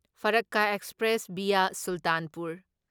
Farakka express via Sultanpur